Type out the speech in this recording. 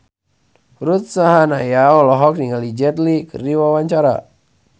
Ruth Sahanaya olohok ningali Jet Li keur diwawancara